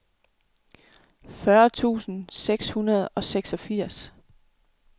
fyrre tusind seks hundrede og seksogfirs